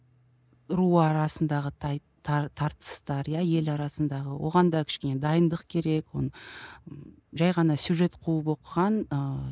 руы арасындағы тартыстар иә ел арасындағы оған да кішкене дайындық керек оны жай ғана сюжет қуып оқыған ыыы